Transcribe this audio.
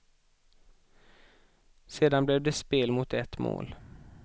Sedan blev det spel mot ett mål.